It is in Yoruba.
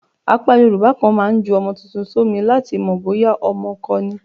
Apá Yorùbá kan máa ń ju ọmọ tuntun sómi láti mọ̀ bóyá ọmọkọ ni.